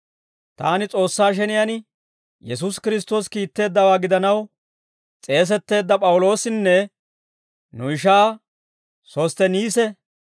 Taani, S'oossaa sheniyaan Yesuusi Kiristtoosi kiitteeddawaa gidanaw s'eesetteedda P'awuloosinne, nu ishaa Sostteniisi,